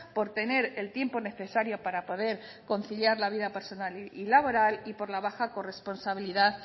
por tener el tiempo necesario para poder conciliar la vida personal y laboral y por la baja corresponsabilidad